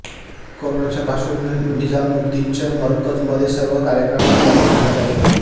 करोनाच्या पार्श्वभूमीवर निजामुद्दीच्या मरकजमध्ये सर्व कार्यक्रमांवर बंदी घालण्यात आली होती